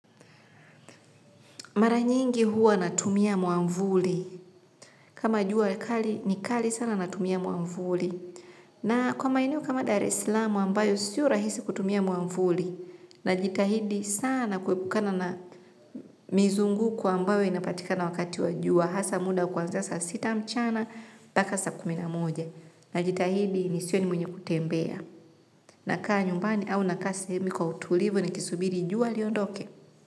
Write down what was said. Mara nyingi huwa natumia mwamvuli. Kama jua kali ni kali sana natumia mwamvuli. Na kwa maeneo kama Dar Es Salaam ambayo sio rahisi kutumia mwamvuli. Najitahidi sana kuepukana na mizunguko ambayo inapatikana wakati wa jua. Hasa muda kuanzia saa sita mchana mpaka saa kumi na moja. Najitahidi nisiwe mwenye kutembea. Nakaa nyumbani au sehemu kwa utulivu nikisubiri jua liondoke.